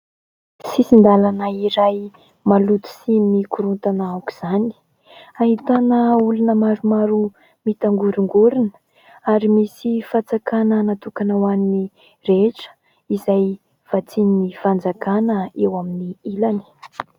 Sisin-dalana iray maloto sy mikorontana aoka izany, ahitana olona maromaro mitangorongorona ary misy fatsakana natokana ho an'ny rehetra izay vatsian'ny fanjakana eo amin'ny ilany.